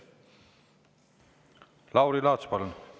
Lauri Laats, palun!